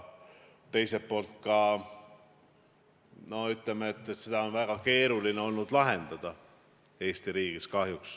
Teiselt poolt on seda olnud Eesti riigis kahjuks väga keeruline lahendada.